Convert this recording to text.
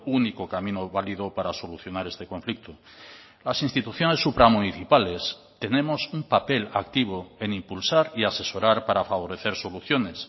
único camino válido para solucionar este conflicto las instituciones supramunicipales tenemos un papel activo en impulsar y asesorar para favorecer soluciones